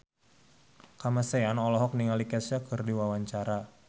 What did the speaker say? Kamasean olohok ningali Kesha keur diwawancara